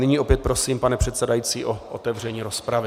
Nyní opět prosím, pane předsedající, o otevření rozpravy.